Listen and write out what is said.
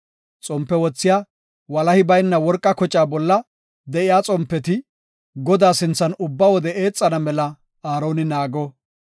Xompe wothiya walahi bayna worqa kocaa bolla de7iya xompeti Godaa sinthan ubba wode eexana mela Aaroni naago.